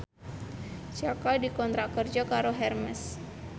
Jaka dikontrak kerja karo Hermes